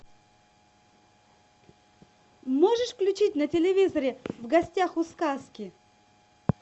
можешь включить на телевизоре в гостях у сказки